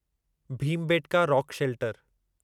Bhimbetka rock shelter